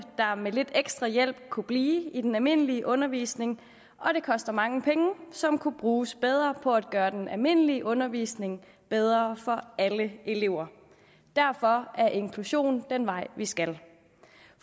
der med lidt ekstra hjælp kunne blive i den almindelige undervisning og det koster mange penge som kunne bruges bedre på at gøre den almindelige undervisning bedre for alle elever derfor er inklusion den vej vi skal